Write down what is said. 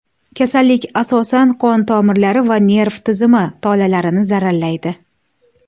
Kasallik asosan qon tomirlari va nerv tizimi tolalarini zararlaydi.